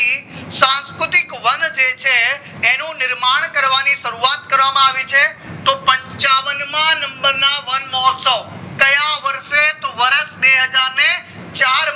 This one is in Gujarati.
સંસ્કૃતિક વન જે છે એનું નિર્માણ કરવાની શરૂવાત કરવામાં આવી છે તો પંચાવન માં number ના વનમહોત્સવ ક્યાં વર્ષે તો બે હજાર ને ચાર